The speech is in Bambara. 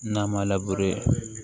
N'a ma